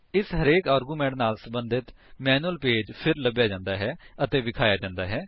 ਇਸ ਹਰੇਕ ਆਰਗੂਮੈਂਟ ਨਾਲ ਸੰਬੰਧਿਤ ਮੈਨਿਊਅਲ ਪੇਜ ਫਿਰ ਲਭਿਆ ਜਾਂਦਾ ਹੈ ਅਤੇ ਵਿਖਾਇਆ ਜਾਂਦਾ ਹੈ